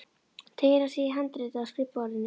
Síðan teygir hann sig í handritið á skrifborðinu.